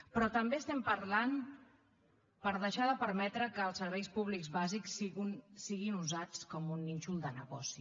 però també estem parlant de deixar de permetre que els serveis públics bàsics siguin usats com a un nínxol de negoci